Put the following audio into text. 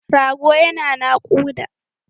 Rago yana naƙuda.